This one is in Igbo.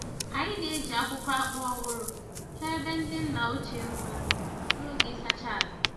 Anyị na-eji akwụkwọ akpu ọhụrụ chọọ ebe ndị nna ochie mma n'oge ịsacha ala.